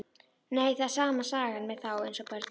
Nei, það er sama sagan með þá eins og börnin.